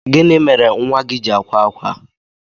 gini mere nwa gi ji akwa akwa?